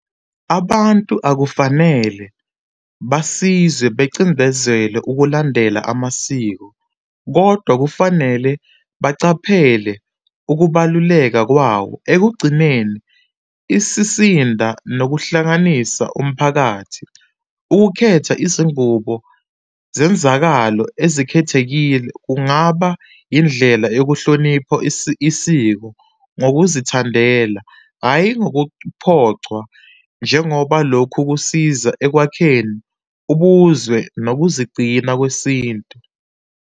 Abantu akufanele basizwe becindezelwe ukulandela amasiko kodwa kufanele bacaphele ukubaluleka kwawo, ekugcineni isisinda nokuhlanganisa umphakathi. Ukukhetha izingubo zenzakalo ezikhethekile kungaba indlela yokuhlonipho isiko ngokuzithandela, hhayi ngokuphocwa, njengoba lokhu kusiza ekwakheni ubuzwe nokuzigcina kwesintu.